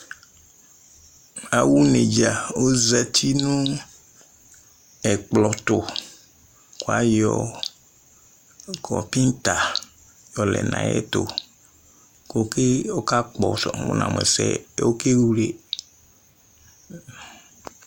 Awʋ neɖzǝ ,ozati nʋ ɛƙplɔ tʋƘʋ aƴɔ ƙɔpɩta ƴɔ lɛ nʋ aƴʋ ɛtʋ ƙʋ ɔƙa ƙɔsʋ ,wʋ namʋ ɛsɛ ƴɛ oƙewle